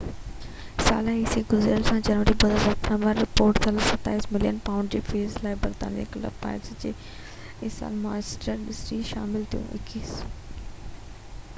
21 ساله عيسي گذريل سال جنوري 2017 ۾ رپورٽ ٿيل 27 ملين پائونڊ جي فيس لاءِ برازيل ڪلب پالميراس کان مانچسٽر سٽي ۾ شامل ٿيو